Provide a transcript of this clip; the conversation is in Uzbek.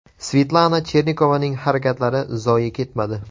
Svetlana Chernikovaning harakatlari zoye ketmadi.